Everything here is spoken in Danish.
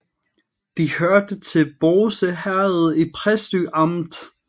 Det hørte til Bårse Herred i Præstø Amt